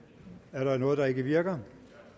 er der noget der ikke virker